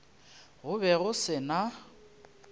go be go se na